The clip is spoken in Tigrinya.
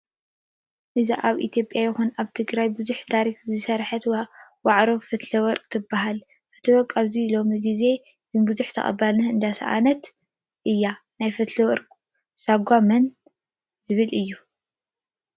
እዛ ኣብ ኢትዮጰያ ይኩን ኣብ ትግራይ ብዙሓተ ታሪክ ዝሰረሐት ዋሕዶ ፈትለወቅ ትበሃል ፈትለወርቅ ኣብዚ ሎሚ ግዜ ግና ብዙሕ ተቀባልነት እንዳሰኣነት እያ። ናይ ፈትለወቅ ሳጓ መን ዝብል እዩ።